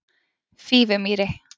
Fífumýri